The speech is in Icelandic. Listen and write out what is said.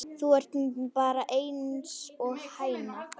Þú ert bara einsog hæna.